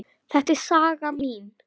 Þetta er saga mín.